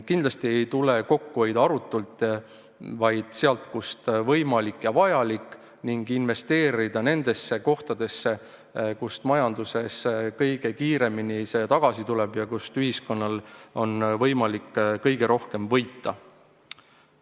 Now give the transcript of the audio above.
Kindlasti ei tule kokku hoida arutult, vaid sealt, kust võimalik ja vajalik, ning investeerida nendesse kohtadesse, kust raha majanduses kõige kiiremini tagasi tuleb ja kust ühiskonnal on võimalik kõige rohkem võita.